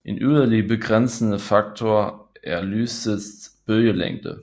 En yderligere begrænsende faktor er lysets bølgelængde